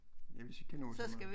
Ja hvis vi kan nå så meget